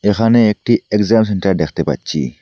এখানে একটি exam centre দেখতে পাচ্ছি।